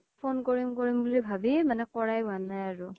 phone কৰিম কৰিম বুলি ভাবি মানে কৰাই হুৱা নাই আৰু